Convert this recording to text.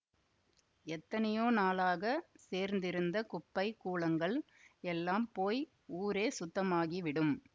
எத்தனையோ நாளாகச் சேர்ந்திருந்த குப்பை கூளங்கள் எல்லாம் போய் ஊரே சுத்தமாகிவிடும்